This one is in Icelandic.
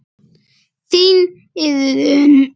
Þín Iðunn.